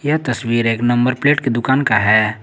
यह तस्वीर एक नंबर प्लेट की दुकान का है।